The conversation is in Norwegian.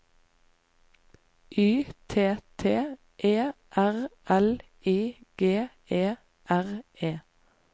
Y T T E R L I G E R E